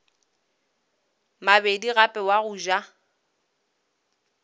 mabedi gape wa go ja